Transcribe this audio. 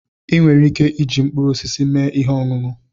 Ị nwere ike iji mkpụrụ osisi mee ihe ọṅụṅụ.